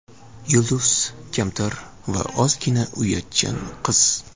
Yulduz kamtar va ozgina uyatchan qiz.